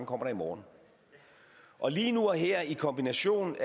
kommer i morgen og lige nu og her i kombination